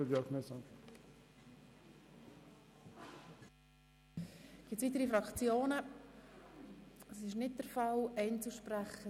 Es haben sich keine weiteren Fraktions- oder Einzelsprechenden gemeldet.